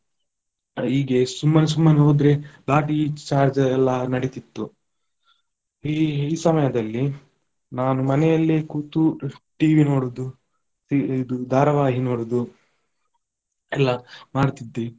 ಈಗೆ ಸುಮ್ಮನೆ ಸುಮ್ಮನೆ ಹೋದ್ರೆ ಲಾಟಿ charge ಎಲ್ಲ ನಡಿತಿತ್ತು, ಈ ಈ ಸಮಯದಲ್ಲಿ ನಾನು ಮನೆಯಲ್ಲೇ ಕೂತು TV ನೋಡುದು ತಿ~ ಇದು ಧಾರಾವಾಹಿ ನೋಡುದು ಎಲ್ಲ ಮಾಡ್ತಿದ್ದೆ.